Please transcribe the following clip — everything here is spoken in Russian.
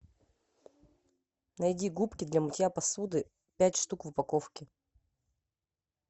найди губки для мытья посуды пять штук в упаковке